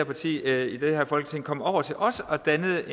partier i det her folketing kom over til os og dannede